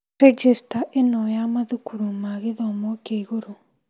Rejĩcita ĩno ya mathukuru ma gĩthomo kĩa igũrũ.